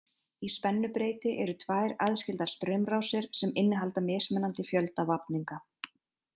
Í spennubreyti eru tvær aðskildar straumrásir sem innihalda mismunandi fjölda vafninga.